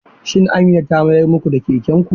Shin Amina ta mayar muku da kekenku?